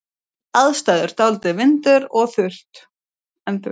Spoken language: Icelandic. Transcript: Aðstæður: Dálítill vindur en þurrt.